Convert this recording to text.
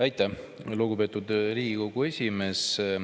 Aitäh, lugupeetud Riigikogu esimees!